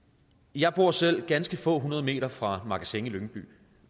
jeg bor selv ganske få hundrede meter fra magasin i lyngby